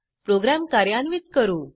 programme कार्यान्वित करू